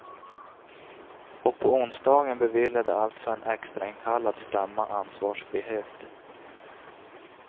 Och på onsdagen beviljade alltså en extrainkallad stämma ansvarfrihet.